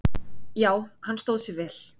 Já, hann stóð sig vel.